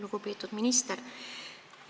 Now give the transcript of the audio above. Lugupeetud minister!